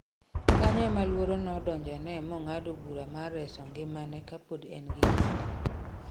Kanyo ema luoro nodonjo ne mong'ado bura mar reso ngimane kapod en gi kinde